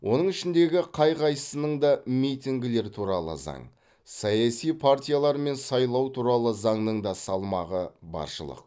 оның ішіндегі қай қайсының да митингілер туралы заң саяси партиялар мен сайлау туралы заңның да салмағы баршылық